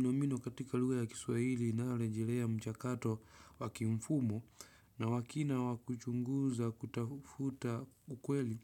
Nomino katika lugha ya kiswahili inayorejelea mchakato wakimfumo na wa kina wakuchunguza kutafuta ukweli